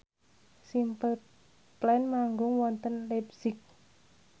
Simple Plan manggung wonten leipzig